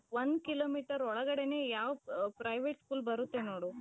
ಒಂದು ಕಿಲೋಮೀಟರು ಒಳಗಡೆನೆ ಯಾವ್ private school ಬರುತ್ತೆ ನೋಡು.